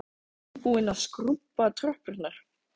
Ég er nýbúin að skrúbba tröppurnar.